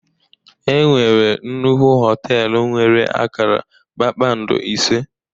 E nwere nnukwu họtelu nwere akara kpakpando ise